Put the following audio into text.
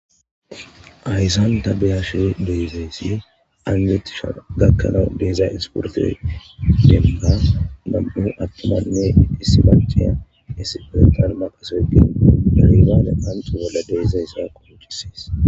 Hayssan ta beyashe deezayssi angetisha gakkanawu deeza insporto demba mam7u attomanne issi manciya issi pontan maqasogin dalibaane anto bolla deezayssa kocisees